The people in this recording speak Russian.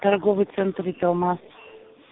торговый центр италмас